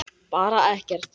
Bara ekkert.